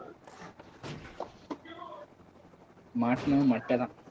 மாட்டுனா மட்டைதான்.